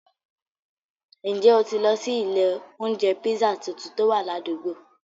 Njẹ́ o tì lọ sí ilẹ̀ ọ̀unjẹ̀ pízzà tuntun tó wà làdùgbò?